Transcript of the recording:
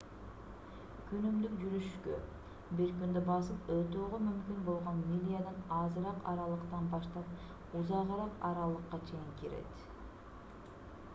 күнүмдүк жүрүшкө бир күндө басып өтүүгө мүмкүн болгон милядан азыраак аралыктан баштап узагыраак аралыкка чейин кирет